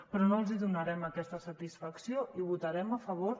però no els donarem aquesta satisfacció i votarem a favor